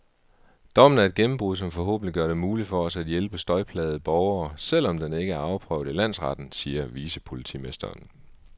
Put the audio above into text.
Dommen er et gennembrud, som forhåbentlig gør det muligt for os at hjælpe støjplagede borgere, selv om den ikke er afprøvet i landsretten, siger vicepolitimesteren.